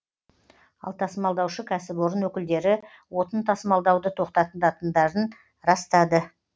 ал тасымалдаушы кәсіпорын өкілдері отын тасымалдауды тоқтатытындарын растады